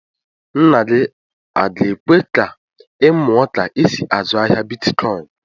Nna gị a ga-èkwé ka ị muọ ka e sị azụ ahịa bịtkọin?